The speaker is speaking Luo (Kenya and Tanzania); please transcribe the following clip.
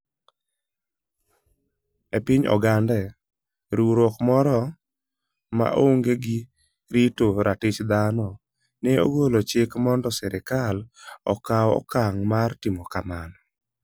E piny Ogande, riwruok moro ma onge gi rito ratich thano ne ogolo chik mondo sirkal okaw okang ' mar timo kamano: